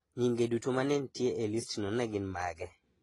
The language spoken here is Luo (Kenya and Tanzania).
Nyinge duto ma ne nitie e listno ne gin mage?